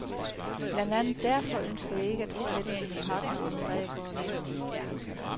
Blandt andet derfor ønsker jeg ikke at fortælle mine partnere om, hvad jeg går og laver.